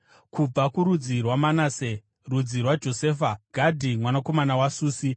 kubva kurudzi rwaManase (rudzi rwaJosefa), Gadhi mwanakomana waSusi;